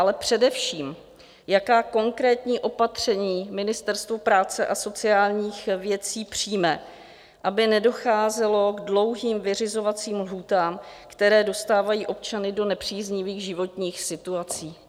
Ale především, jaká konkrétní opatření Ministerstvo práce a sociálních věcí přijme, aby nedocházelo k dlouhým vyřizovacím lhůtám, které dostávají občany do nepříznivých životních situací?